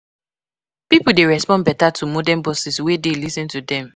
Pipo dey respond better to modern bosses wey dey lis ten to dem.